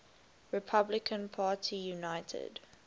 republican party united